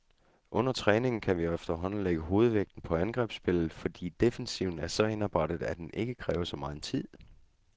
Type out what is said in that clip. Under træningen kan vi efterhånden lægge hovedvægten på angrebsspillet, fordi defensiven er så indarbejdet, at den ikke kræver så megen tid.